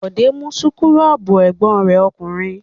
Bọ̀dé mú súkúrọ́bù ẹ̀gbọ́n rẹ̀ ọkùnrin.